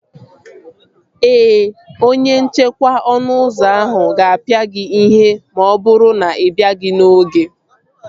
Ee, onye nchekwa ọnụ ụzọ ahụ ga-apịa gị ihe ma ọ bụrụ na ị bịaghị n'oge